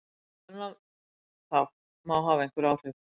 Á þennan þátt má hafa einhver áhrif.